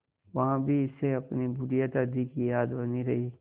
वहाँ भी इसे अपनी बुढ़िया दादी की याद बनी रही